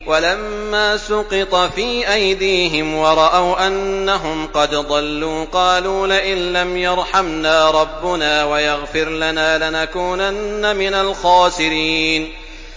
وَلَمَّا سُقِطَ فِي أَيْدِيهِمْ وَرَأَوْا أَنَّهُمْ قَدْ ضَلُّوا قَالُوا لَئِن لَّمْ يَرْحَمْنَا رَبُّنَا وَيَغْفِرْ لَنَا لَنَكُونَنَّ مِنَ الْخَاسِرِينَ